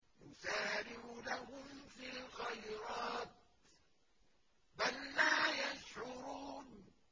نُسَارِعُ لَهُمْ فِي الْخَيْرَاتِ ۚ بَل لَّا يَشْعُرُونَ